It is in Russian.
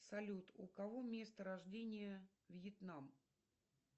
салют у кого место рождения вьетнам